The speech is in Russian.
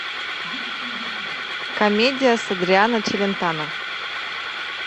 комедия с адриано челентано